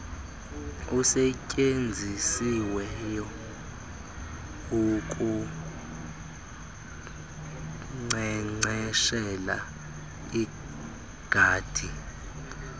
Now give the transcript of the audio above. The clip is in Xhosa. usetyenzisiweyo ukunkcenkceshela igadi